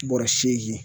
Bɔrɔ seegin